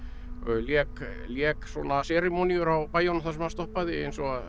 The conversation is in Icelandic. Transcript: lék lék svona seremóníur á bæjunum þar sem hann stoppaði eins og